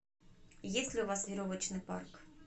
есть ли у вас веревочный парк